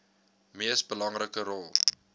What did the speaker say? mees belangrike rol